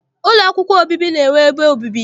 Ụlọ akwụkwọ obibi na-enwe ebe obibi.